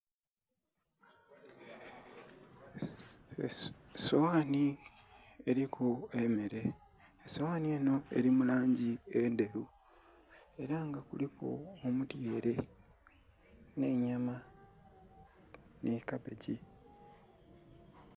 Esowani eliku emere esowani enho eri mu langi endheru era nga kuliku emere nhe'nyama nhi kabegi.